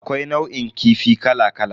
Akwai nau'in kifi kala kala.